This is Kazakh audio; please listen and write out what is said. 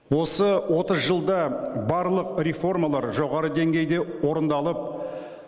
осы отыз жылда барлық реформалар жоғары деңгейде орындалып